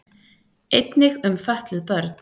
Einnig um fötluð börn.